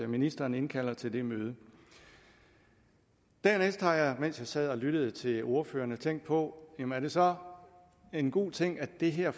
ministeren indkalder til det møde dernæst har jeg mens jeg sad og lyttede til ordførerne tænkt på jamen er det så en god ting at det her